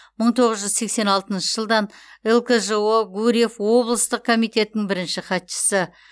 мың тоғыз жүз сексен алтыншы жылдан лкжо гурьев облыстық комитетінің бірінші хатшысы